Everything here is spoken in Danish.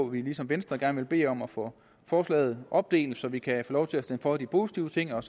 vi ligesom venstre gerne vil bede om at få forslaget opdelt så vi kan få lov til at stemme for de positive ting og